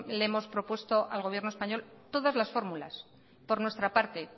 le hemos propuesto al gobierno español todas las fórmulas por nuestra parte